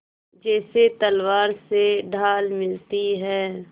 जैसे तलवार से ढाल मिलती है